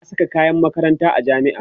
ba'a Saka kayan makaranta a jami'a